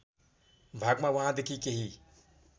भागमा वहाँदेखि केही